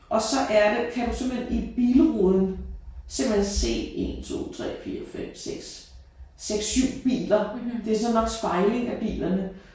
Og så er det kan du simpelthen i bilruden simpelthen se 1 2 3 4 5 6 6 7 biler. Det er så nok spejling af bilerne